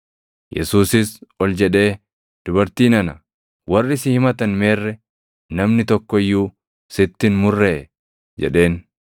Yesuusis ol jedhee, “Dubartii nana, warri si himatan meerre? Namni tokko iyyuu sitti hin murree?” jedheen.